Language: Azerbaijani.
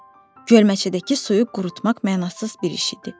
Gölməçədəki suyu qurutmaq mənasız bir iş idi.